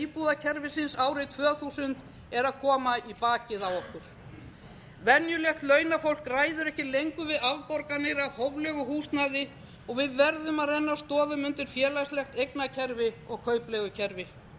íbúðakerfisins árið tvö þúsund kemur í bakið á okkur venjulegt launafólk ræður ekki lengur við afborganir af hóflegu húsnæði og við verðum að renna stoðum undir félagslegt eignakerfi og kaupleigukerfi